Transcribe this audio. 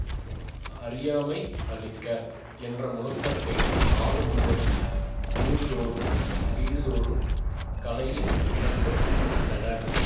அறியாமை அழிக்க என்ற முழக்கத்தை நாடு முழுவதும் ஊர்தோறும் வீடுதோறும் கலையின் விளக்கம் கண்டனர்